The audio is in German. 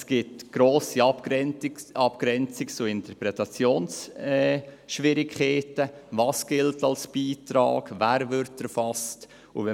Es gibt grosse Abgrenzungs- und Interpretationsschwierigkeiten, dahingehend, was als Beitrag gilt und wer erfasst wird.